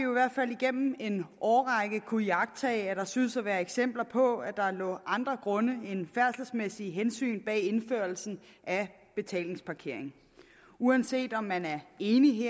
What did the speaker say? igennem en årrække kunnet iagttage at der synes at være eksempler på at der lå andre grunde end færdselsmæssige hensyn bag indførelsen af betalingsparkering uanset om man er enig